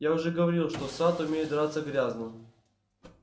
я уже говорил что сатт умеет драться грязно